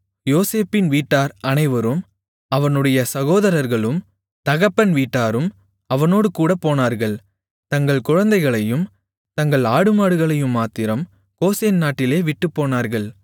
யோசேப்பின் வீட்டார் அனைவரும் அவனுடைய சகோதரர்களும் தகப்பன் வீட்டாரும் அவனோடுகூடப் போனார்கள் தங்கள் குழந்தைகளையும் தங்கள் ஆடுமாடுகளையும்மாத்திரம் கோசேன் நாட்டிலே விட்டுப் போனார்கள்